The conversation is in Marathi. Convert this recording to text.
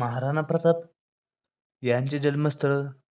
महाराणा प्रताप यांचे जन्मस्थळ